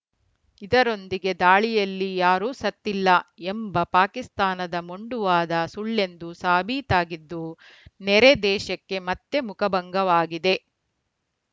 ಇದರೊಂದಿಗೆ ದಾಳಿಯಲ್ಲಿ ಯಾರೂ ಸತ್ತಿಲ್ಲ ಎಂಬ ಪಾಕಿಸ್ತಾನದ ಮೊಂಡುವಾದ ಸುಳ್ಳೆಂದು ಸಾಬೀತಾಗಿದ್ದು ನೆರೆ ದೇಶಕ್ಕೆ ಮತ್ತೆ ಮುಖಭಂಗವಾಗಿದೆ